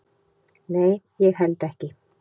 """Nei, ég held ekki."""